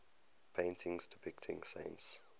paintings depicting saints